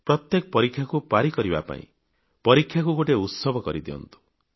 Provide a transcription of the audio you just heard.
ପ୍ରତ୍ୟେକ ପରୀକ୍ଷାକୁ ଅତିକ୍ରମ କରିବା ପାଇଁ ପରୀକ୍ଷାକୁ ଗୋଟିଏ ଉତ୍ସବ କରଦିଅନ୍ତୁ